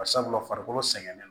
Bari sabula farikolo sɛgɛnnen no